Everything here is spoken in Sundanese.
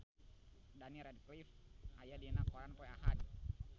Daniel Radcliffe aya dina koran poe Ahad